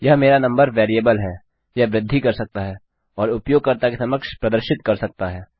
यह मेरा नंबरवेरिएबल हैयह वृद्धि कर सकता है और उपयोगकर्ता के समक्ष प्रदर्शित कर सकता है